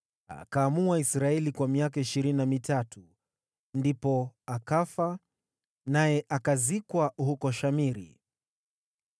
Akaamua Israeli kwa miaka ishirini na mitatu. Ndipo akafa, naye akazikwa huko Shamiri.